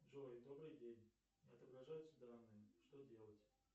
джой добрый день не отображаются данные что делать